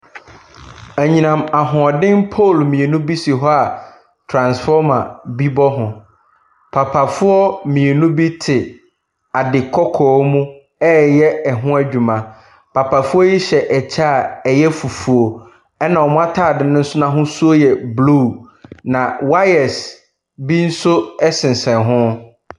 Anyinam ahoɔden pool mmienu bi si hɔ a transfomer bi bɔ ho. Papafoɔ mmienu bi te ade kɔɔkɔɔ mu ɛ reyɛ ho adwuma. Papafoɔ yi hyɛ kyɛ a ɛyɛ fufuo. Ɛna wɔn ataade no nso ahosu yɛ blue. Na wires bi nso ɛsensan ho.